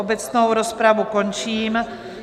Obecnou rozpravu končím.